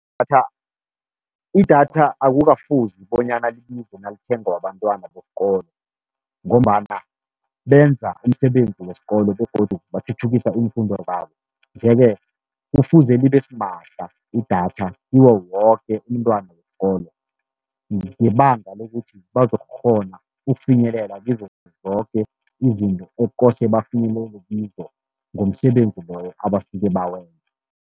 IData, idatha akukafuzi bonyana libize nalithengwa bantwana besikolo, ngombana benza umsebenzi wesikolo begodu bathuthukisa iimfundo zabo. Nje-ke kufuze libe simahla idatha kiwo woke umntwana wesikolo, ngebanga lokuthi bazokukghona ukufinyelela kizo zoke izinto ekukose bafinyelele kizo ngomsebenzi loyo abasuke bawenza.